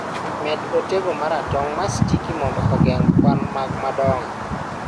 med otego maratong ma sticky mondo ogeng' kwan mag madongo